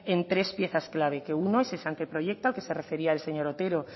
en tres piezas clave que uno es ese anteproyecto al que se refería el señor otero